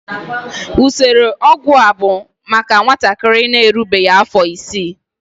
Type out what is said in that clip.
Usoro ọgwụgwọ a bụ maka nwatakịrị na-erubeghị afọ isii.